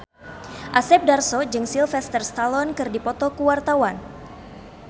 Asep Darso jeung Sylvester Stallone keur dipoto ku wartawan